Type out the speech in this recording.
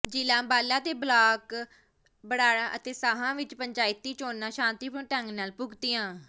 ਜ਼ਿਲ੍ਹਾ ਅੰਬਾਲਾ ਦੇ ਬਲਾਕ ਬਰਾੜਾ ਅਤੇ ਸਾਹਾ ਵਿੱਚ ਪੰਚਾਇਤੀ ਚੋਣਾਂ ਸ਼ਾਂਤੀਪੂਰਨ ਢੰਗ ਨਾਲ ਭੁਗਤੀਆਂ